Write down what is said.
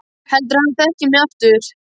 Heldurðu að hann þekki mig aftur?